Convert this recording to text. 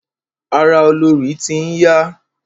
Ara olorì ti n ya.